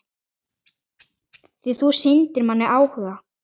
Því þú sýndir manni áhuga.